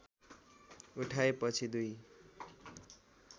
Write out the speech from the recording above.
उठाए पछि दुई